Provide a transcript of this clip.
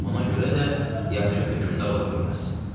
Ona görə də yaxşı hökmdar ola bilməz.